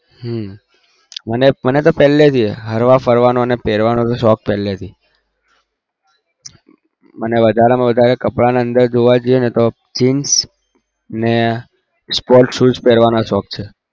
હમ મને પેલે થી હરવા ફરવા નો પેરવાનો શોક પેલે થી અને કપડામાં વધારે ની અદર જોઈ એ તો jeans ને sports shoes પેરવાનો શોક છે